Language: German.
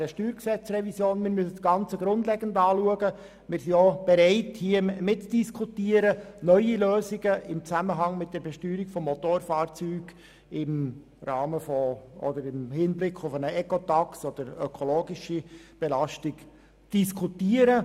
Wir sind offen, dieses Thema zu diskutieren, neue Lösungen im Zusammenhang mit der Besteuerung von Motorfahrzeugen im Hinblick auf eine Ecotax oder ökologische Belastung zu diskutieren.